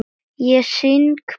Ég syng bara með.